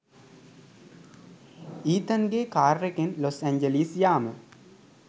ඊතන්ගෙ කාරෙකෙන් Los Angeles යාම.